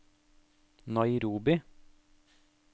Nairobi